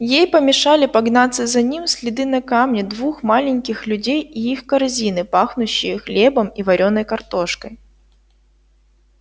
ей помешали погнаться за ним следы на камне двух маленьких людей и их корзины пахнущие хлебом и вареной картошкой